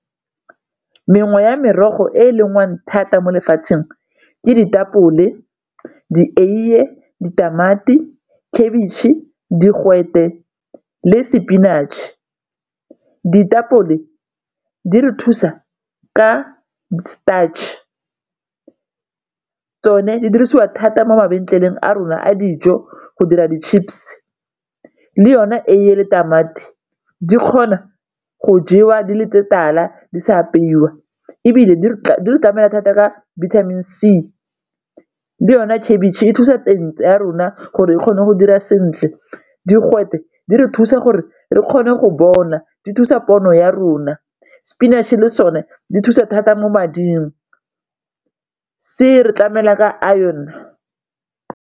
Mengwe ya merogo e e lengwang thata mo lefatsheng ke ditapole, dieiye, ditamati, khabitšhe, digwete le spinach-e. Ditapole di re thusa ka starch tsone di dirisiwa thata mo a rona a dijo go dira di chips, le yona eiye le tamati di kgona go jewa di le tse tala di sa apeiwa ebile di tlamela thata ka vitamin C, le yone khabitšhe e thusa ya rona gore e kgone go dira sentle, digwete di re thusa gore re kgone go bona di thusa pono ya rona, spinach-e le sone di thusa thata mo mading se re tlamela ka iron.